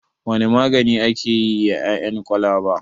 Wane magani ake yi da ƴaƴan kwalaba?